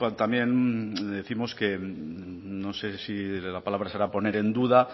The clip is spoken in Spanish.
también décimos que no sé si de la palabra será poner en duda